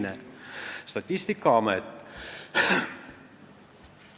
Teiseks, Statistikaametist.